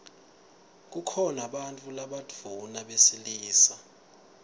kukhona bantfu labadvuna besilisa